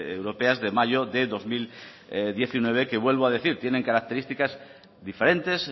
europeas de mayo de dos mil diecinueve que vuelvo a decir tienen características diferentes